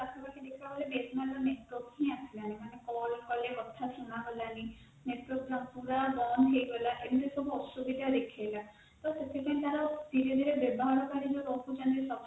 ତାକୁ ଦେଖିବାକୁ ଗଲେ BSNL ର network ହି ଆସିଲାଣି ମାନେ call କଲେ କଥା ସୁନାଗଲାଣି network ନଥିଲା ବନ୍ଦ ହେଇଗଲା ଏମିତିସବୁ ଅସୁବିଧା ଦେଖେଇଲ ତ ସେଥିପାଇଁ ତାର SIM ରେ ବ୍ୟବହାର ପାଇଁ ଜୋଉ କଟୁଛନ୍ତି